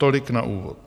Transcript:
Tolik na úvod.